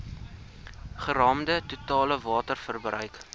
geraamde totale waterverbruik